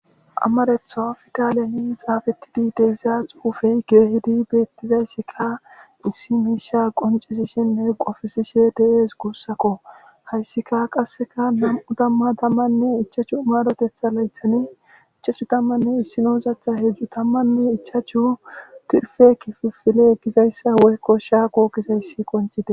amaretho fidaaliyani xaafettidi deezaa xupuufey keehidi beettizayssika issi miisha qoncesishenne qofisishe de7ees guussakko hayssika qasseka nam7u damma tammanne ichachu marotetha laythani ichachu tammanne issi noozatha hedzdzu tammanne ichachu tirfe kifufile gizayssa woykko shaako gizayssi koncite